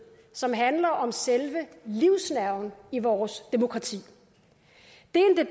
som handler om selve livsnerven i vores demokrati det